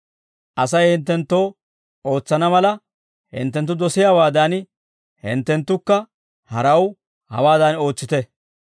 Asay hinttenttoo ootsana mala hinttenttu dosiyaawaadan, hinttenttukka haraw hawaadan ootsite.